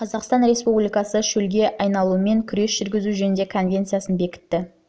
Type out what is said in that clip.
жылы қазақстан республикасы шөлге айналумен күрес жүргізу жөніндегі конвенциясын бекітті